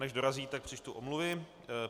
Než dorazí, tak přečtu omluvy.